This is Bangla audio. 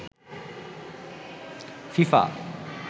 ফিফা